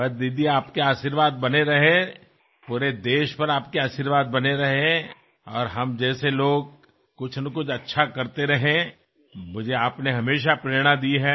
बस दीदी आपके आशीर्वाद बने रहें पूरे देश पर आपके आशीर्वाद बने रहे और हम जैसे लोग कुछनाकुछ अच्छा करते रहें मुझे आपने हमेशा प्रेरणा दी है